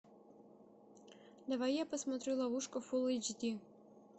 давай я посмотрю ловушка фул эйч ди